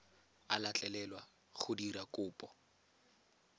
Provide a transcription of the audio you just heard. a letlelelwa go dira kopo